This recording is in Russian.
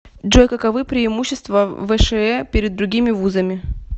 джой каковы преимущества вшэ перед другими вузами